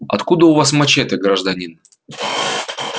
откуда у вас мачете гражданин